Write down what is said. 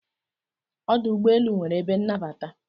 Ọdụ ụgbọelu nwere ebe nnabata.